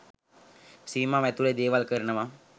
සීමාව ඇතුළෙ දේවල් කරනවා.